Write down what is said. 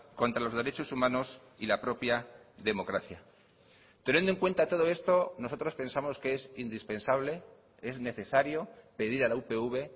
contra los derechos humanos y la propia democracia teniendo en cuenta todo esto nosotros pensamos que es indispensable es necesario pedir a la upv